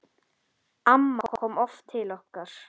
Amma kom oft til okkar.